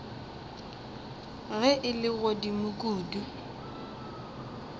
ge e le godimo kudu